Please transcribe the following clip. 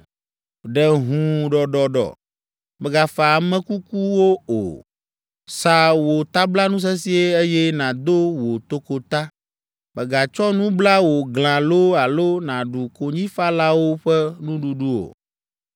Ɖe hũu ɖɔɖɔɖɔ; mègafa ame kukuwo o. Sa wò tablanu sesĩe, eye nàdo wò tokota; mègatsɔ nu bla wò glã loo alo nàɖu konyifalawo ƒe nuɖuɖu o.”